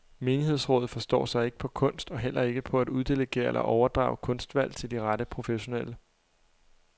Menighedsrådet forstår sig ikke på kunst og heller ikke på at uddelegere eller overdrage kunstvalg til de rette professionelle.